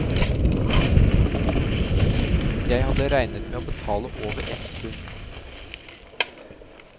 Jeg hadde regnet med å betale over ett pund.